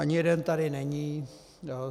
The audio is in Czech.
Ani jeden tady není.